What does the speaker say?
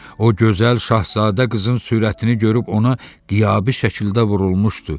O gözəl Şahzadə qızın surətini görüp ona qiyabi şəkildə vurulmuşdu.